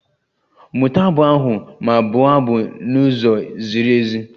Mụta abụ ahụ ma bụo abụ n'ụzọ ziri ezi!